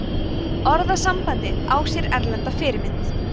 orðasambandið á sér erlenda fyrirmynd